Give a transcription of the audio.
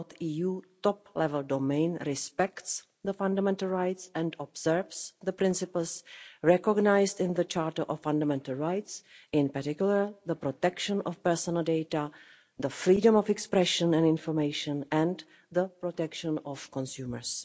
.eu top-level domain respects the fundamental rights and observes the principles recognised in the Charter of Fundamental Rights, in particular the protection of personal data, the freedom of expression and information and the protection of consumers.